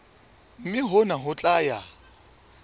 mme hona ho tla ya